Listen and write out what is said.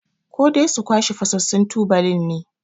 Ko dai su kwashe fasassun tubalin ne?